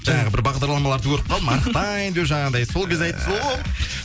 жаңағы бір бағдарламаларды көріп қалдым арықтаймын деп жанағындай сол кезде айтыпсыз ғой